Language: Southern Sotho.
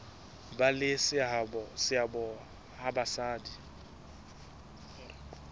ba le seabo ha basadi